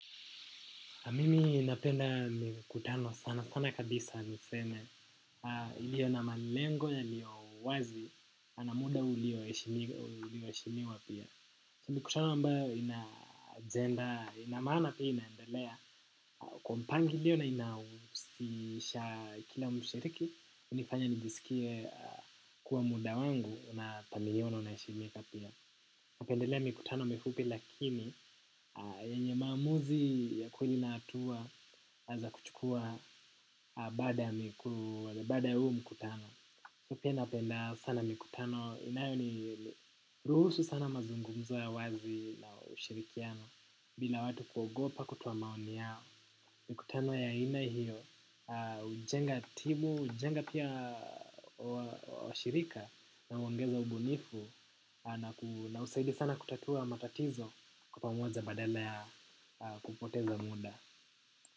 Mimi napenda mikutano sana sana kabisa niseme iliyo na malengo yaliyo wazi na muda ulioeshimiwa pia. Mikutano ambayo ina agenda ina maana pia inaendelea kwa mpangilio na inausisha kila mshiriki hunifanya nijisikie kuwa muda wangu na pamiliono inaheshimika pia. Napendelea mikutano mifupi lakini yenye maamuzi ya kweli na hatua za kuchukua baada ya huu mkutano pia napenda sana mikutano inayoniruhusu sana mazungumzo ya wazi na ushirikiano bila watu kuogopa kutoa maoni yao. Mikutano ya aina hiyo hujenga timu, hujenga pia ushirika. Na huongeza ubunifu. Na husaidia sana kutatua matatizo kwa pamoja badala ya kupoteza muda.